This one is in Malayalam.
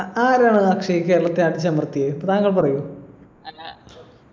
അഹ് ആരാണ് അക്ഷയ് കേരളത്തെ അടിച്ചമർത്തിയെ താങ്കൾ പറയു